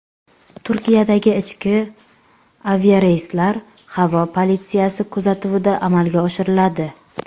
Turkiyadagi ichki aviareyslar havo politsiyasi kuzatuvida amalga oshiriladi.